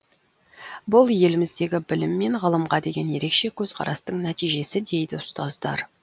бұл еліміздегі білім мен ғылымға деген ерекше көзқарастың нәтижесі дейді ұстаздар